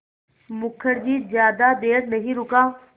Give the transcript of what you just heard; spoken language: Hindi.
मुखर्जी ज़्यादा देर नहीं रुका